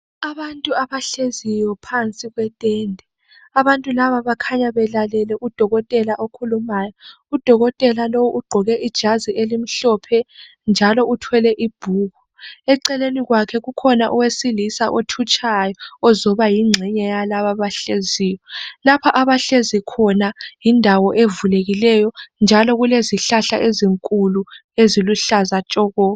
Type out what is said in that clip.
Abantu abahleziyo phansi kwetende abantu laba bakhanya belalele udokotela okhulumyo udokotela lo ugqoke ijazi elimhlophe njalo uthwele ibhuku eceleni kwakhe kukhona owesilisa othutshayo ozoba yingxenye yalabo abahleziyo, lapha abahlezi khona yindawo evulekileyo njalo kulezihlahla ezinkulu eziluhlaza tshoko.